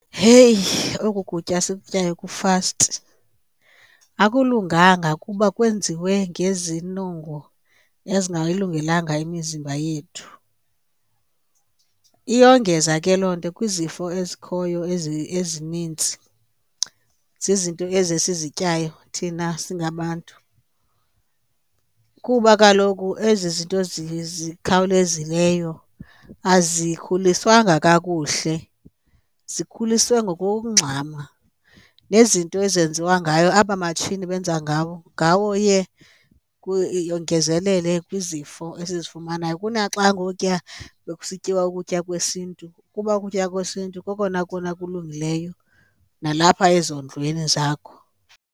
Heyi, oku kutya sikutyayo kufasti. Akulunganga kuba kwenziwe ngezinongo ezingayilungelanga imizimba yethu. Iyongeza ke loo nto kwizifo ezikhoyo ezinintsi, zizinto ezi esizityayo thina singabantu. Kuba kaloku ezi zinto zikhawulezileyo azikhuliswanga kakuhle, zikhuliswe ngokugxama. Nezinto ezenziwa ngayo, aba matshini benza ngawo iye yongezelele kwizifo esizifumanayo. Kunaxa ngokuya bekusityiwa ukutya kwesiNtu, kuba ukutya kwesiNtu kokona kona kulungileyo nalapha ezondlweni zakho.